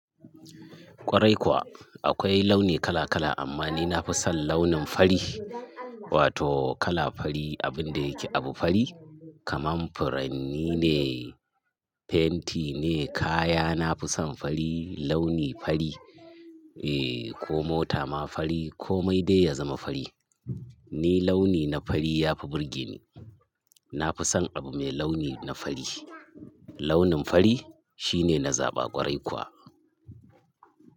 Kwarai kuwa. Akwai launi kala kala amma ni nafi son launin fari. Wato kala fari, abin da yake abu fari, kamar furanni ne, fenti ne, kaya. Nafi son fari, launi fari, eh ko mota ma fari ko mai dai ya zama fari. Ni launi na fari ya fi burge ni. Na fi son abu mai launi na fari. Launin fari shine na zaba ƙwarai kuwa.